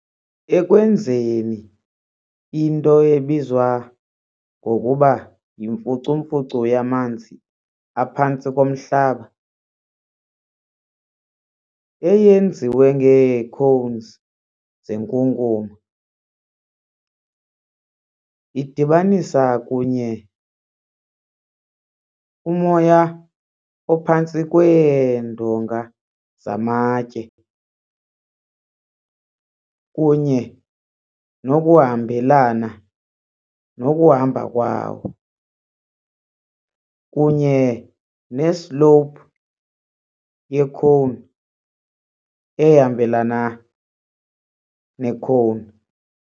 ekwenzeni into ebizwa ngokuba yimfucumfucu yamanzi aphantsi komhlaba, eyenziwe ngeecones zenkunkuma, idibanisa kunye, umoya ophantsi kweendonga zamatye kunye nokuhambelana nokuhamba kwawo, kunye ne-slope ye-cone ehambelana ne-cone.